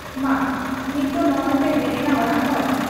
ᱢᱟ ᱱᱤᱛ ᱫᱚ ᱱᱚᱸᱜᱼᱚᱭᱯᱮ ᱦᱮᱡ ᱮᱱᱟ ᱚᱲᱟᱜ ᱦᱚᱲ ᱾